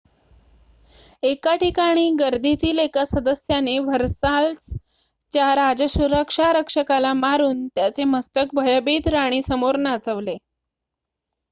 एक ठिकाणी गर्दीतील एका सदस्याने व्हर्साल्स च्या राजसुरक्षा रक्षकाला मारून त्याचे मस्तक भयभीत राणीसमोर नाचवले